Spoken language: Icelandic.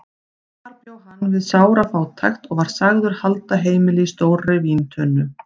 Þar bjó hann við sára fátækt og var sagður halda heimili í stórri víntunnu.